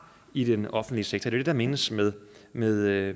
i den offentlige sektor det er det der menes med med at